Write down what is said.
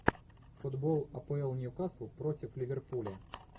футбол апл ньюкасл против ливерпуля